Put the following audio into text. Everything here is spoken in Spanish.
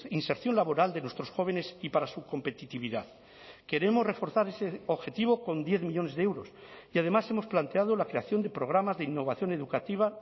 inserción laboral de nuestros jóvenes y para su competitividad queremos reforzar ese objetivo con diez millónes de euros y además hemos planteado la creación de programas de innovación educativa